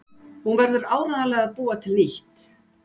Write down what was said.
Hún verður áreiðanlega að búa til nýtt.